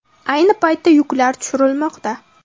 Ayni paytda yuklar tushirilmoqda.